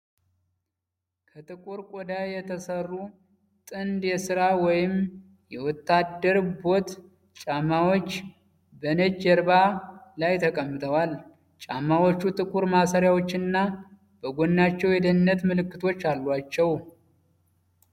ከጥቁር ቆዳ የተሰሩ ጥንድ የሥራ ወይም የወታደር ቦት ጫማዎች በነጭ ጀርባ ላይ ተቀምጠዋል። ጫማዎቹ ጥቁር ማሰሪያዎችና በጎናቸው የደህንነት ምልክቶች አሏቸው።